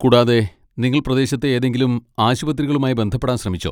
കൂടാതെ, നിങ്ങൾ പ്രദേശത്തെ ഏതെങ്കിലും ആശുപത്രികളുമായി ബന്ധപ്പെടാൻ ശ്രമിച്ചോ?